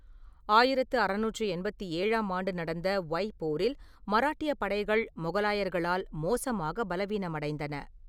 ஆயிரத்து அறுநூற்று எண்பத்தேழாம் ஆண்டு நடந்த ஒய்ப் போரில் மராட்டியப் படைகள் மொகலாயர்களால் மோசமாக பலவீனமடைந்தன.